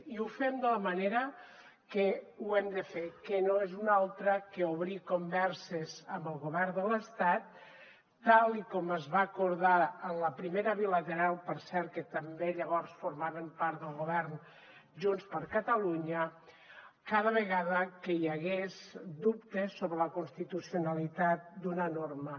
i ho fem de la manera que ho hem de fer que no és una altra que obrir converses amb el govern de l’estat tal com es va acordar en la primera bilateral per cert que també llavors formaven part del govern junts per catalunya cada vegada que hi hagués dubtes sobre la constitucionalitat d’una norma